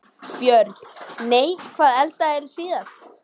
Börn: Nei Hvað eldaðir þú síðast?